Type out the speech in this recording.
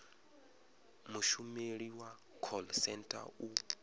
mushumeli wa call centre u